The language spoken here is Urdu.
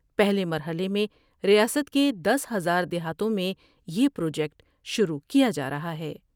پہلے مرحلے میں ریاست کے دس ہزار دیہاتوں میں یہ پروجیکٹ شروع کیا جارہا ہے ۔